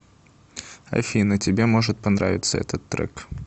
афина тебе может понравиться этот трек